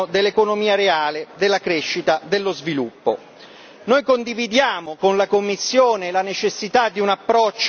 verso investimenti di lungo termine a sostegno dell'economia reale, della crescita, dello sviluppo.